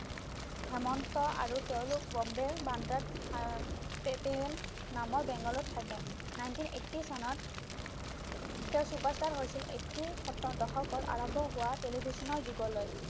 হেমন্ত আৰু তেওঁলোক বম্বেৰ বান্দ্ৰাত আহ নামৰ বেংগলত থাকে nineteen eighty চনত তেওঁ superstar হৈছিল এইটিৰ সতদশকৰ আৰম্ভ হোৱা television ৰ যুগলৈ